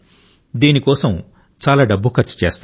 దీని కోసం చాలా డబ్బు ఖర్చు చేస్తారు